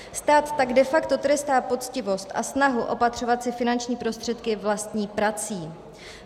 Stát tak de facto trestá poctivost a snahu opatřovat si finanční prostředky vlastní prací.